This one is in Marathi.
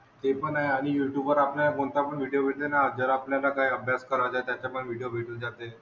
ते पण आहे आणि युट्युबवर आपल्याला कोणतापण व्हिडिओ भेटले ना जर आपल्याला काय अभ्यास करायचाय त्याचा पण व्हिडिओ भेटून जाते.